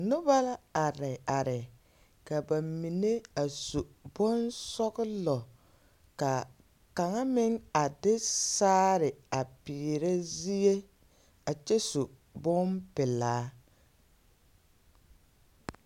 Noba la are are, ka ba mine a su bonsͻgelͻ ka kaŋa meŋ a de saare a peerԑ zie a kyԑ su bompelaa.